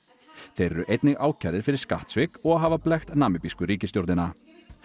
þeir eru einnig ákærðir fyrir skattsvik og að hafa blekkt namibísku ríkisstjórnina